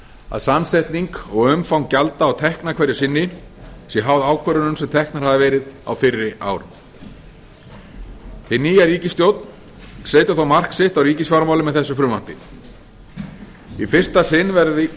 að samsetning og umfang gjalda og tekna hverju sinni sé háð ákvörðunum sem teknar hafa verið á fyrri árum hin nýja ríkisstjórn setur þó mark sitt á ríkisfjármálin með þessu frumvarpi í fyrsta sinn